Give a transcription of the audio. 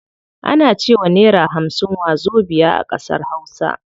Ana cewa naira hamsin wazobiya a ƙasar hausa.